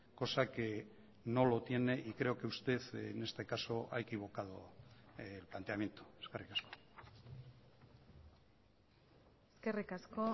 cosa que no lo tiene y creo que usted en este caso ha equivocado el planteamiento eskerrik asko eskerrik asko